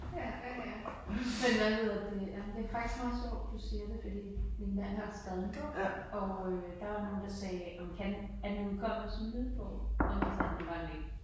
Ja, ja ja. Men hvad hedder det ej men det er faktisk meget sjovt du siger det fordi min mand har skrevet en bog øh der var nogen der sagde kan er den udkommet som lydbog hvor han sagde det var den ikke